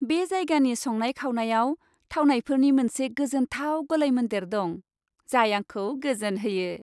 बे जायगानि संनाय खावनायाव थावनायफोरनि मोनसे गोजोनथाव गलायमोन्देर दं, जाय आंखौ गोजोनहोयो।